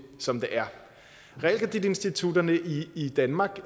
som det er realkreditinstitutterne i danmark